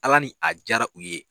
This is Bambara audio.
Ala ni a diyara u ye.